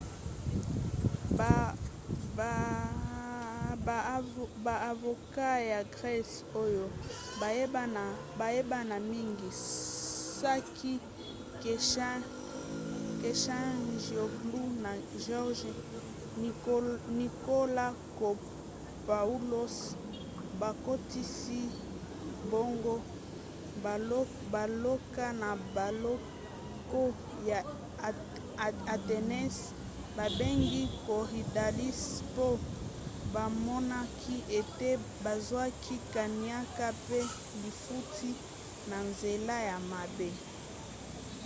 baavoka ya grese oyo bayebana mingi sakis kechagioglou na george nikolakopoulos bakotisi bango boloko na boloko ya athènes babengi korydallus mpo bamonaki ete bazwaki kaniaka pe lifutti na nzela ya mabe